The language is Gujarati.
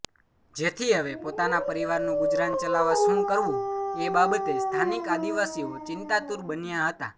જેથી હવે પોતાના પરિવારનું ગુજરાન ચલાવવા શું કરવું એ બાબતે સ્થાનિક આદિવાસીઓ ચિંતાતુર બન્યા હતા